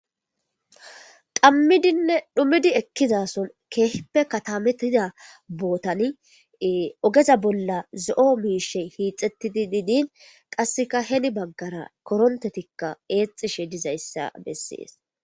Dammidinne dhumidi ekkizason keeheppe katametida bootani ogeza bolla ze7o miishe hiixettidi diidin qasseka heni baggara korontetikka eexishe dizayssa bessees